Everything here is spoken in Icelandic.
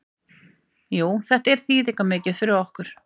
Jú þetta var þýðingarmikið fyrir okkur.